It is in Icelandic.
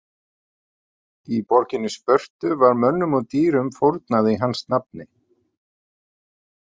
Í borginni Spörtu var mönnum og dýrum fórnað í hans nafni.